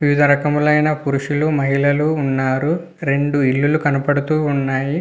వివిధ రకములు అయన పురుషులు మహిళలు ఉన్నారు. రెండు ఇల్లు లు కనపడతూ వున్నాయ్.